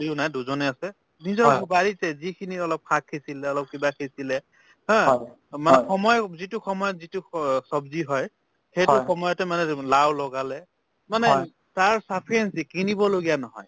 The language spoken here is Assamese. ও নাই দুজনে আছে নিজৰ বাৰীতে যিখিনি অলপ শাক সিচিলে অলপ কিবা সিচিলে haa to মানে সময় অ যিটো সময়ত যিটো স~ ছব্জি হয় সেইটো সময়তে মানে লাউ লগালে মানে তাৰ sufficient সি কিনিব লগীয়া নহয়